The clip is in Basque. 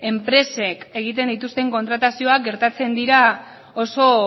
enpresek egiten dituzten kontratazioak gertatzen dira oso